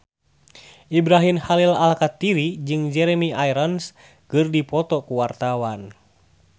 Ibrahim Khalil Alkatiri jeung Jeremy Irons keur dipoto ku wartawan